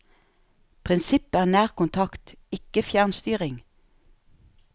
Prinsippet er nærkontakt, ikke fjernstyring.